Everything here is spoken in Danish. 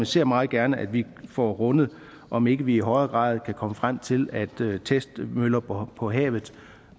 ser meget gerne at vi får rundet om ikke vi i højere grad kan komme frem til at testmøller på på havet